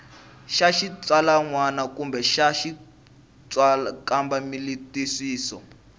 xa xitsalwana kumbe xa xikambelantwisiso